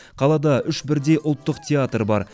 қалада үш бірдей ұлттық театр бар